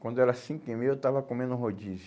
Quando era cinco e meia eu estava comendo um rodízio.